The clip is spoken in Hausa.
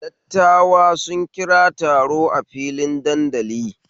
Dattawa sun kira taro a filin dandali